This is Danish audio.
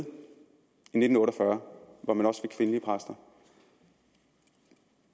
i nitten otte og fyrre hvor man også fik kvindelige præster